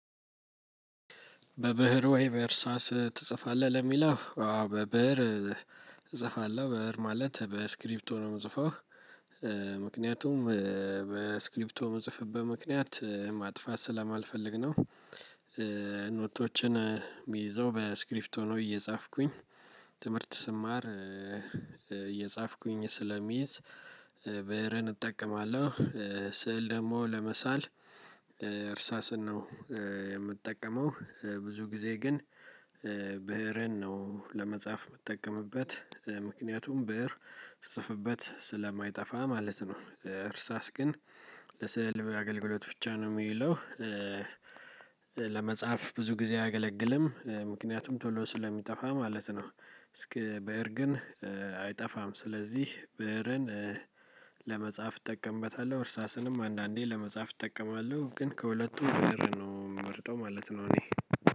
በብህር ወይ በህሳስ ትጽፋለህ ለሚለው አሆ በበር እጽፋለሁ በር ማለት በስክሪፕቶ ነው የምጽፈው ምክንያቱም በስክሪፕቶ የምጽፍበት ምክንያት ማጥፋት ስለማልፈልግ ነው። ኖቶችን የሚይዘው በስክሪፕቶ እየጻፍኩኝ ትምህርት ስማር እየጻፍኩኝ ስለሚይዝ ብህርን እጠቀማለሁ። ስዕል ደግሞ ለመሳል እርሳስን ነው የምጠቀመው። ብዙ ጊዜ ግን ብህርን ነው ለመጻፍ የምትጠቀምበት ምክንያቱም ብር ስትጽፍበት ስለማይጠፋ ማለት ነው። እርሳስ ግን ለስዕል አገልግሎት ብቻ ነው የሚለው። ለመጽሐፍ ብዙ ጊዜ አያገለግልም ምክንያቱም ቶሎ ስለሚጠፋ ማለት ነው። እስኪ ብህር ግን አይጠፋም ስለዚህ ብህርን ለመጻፍ እጠቀምበታለው እርሳስንም አንዳንዴ ለመጽሐፍ እጠቀማለሁ ግን ከሁለቱ ብር ነው የምመርጠው ማለት ነው። እኔ